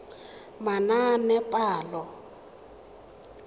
manaanepalo